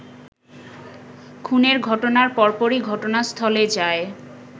খুনের ঘটনার পরপরই ঘটনাস্থলে যায়